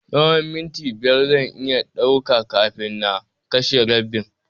Tsahon minti biyar zan iya ɗauka kafin na kashe rabbin.